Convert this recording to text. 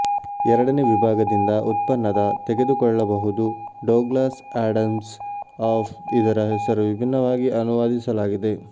ಎರಡನೇ ವಿಭಾಗದಿಂದ ಉತ್ಪನ್ನದ ತೆಗೆದುಕೊಳ್ಳಬಹುದು ಡೊಗ್ಲಾಸ್ ಆಡಮ್ಸ್ ಆಫ್ ಇದರ ಹೆಸರು ವಿಭಿನ್ನವಾಗಿ ಅನುವಾದಿಸಲಾಗಿದೆ